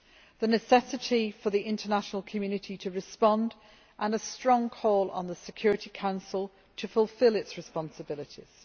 the necessity for the international community to respond and a strong call to the Security Council to fulfil its responsibilities